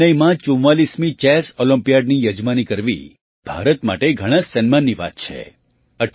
ચેન્નાઈમાં ૪૪મી ચેસ ઑલમ્પિયાડની યજમાની કરવી ભારત માટે ઘણા જ સન્માનની વાત છે